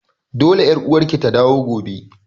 Dole ƴar uwarki ta dawo gobe!